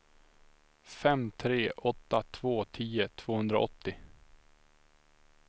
fem tre åtta två tio tvåhundraåttio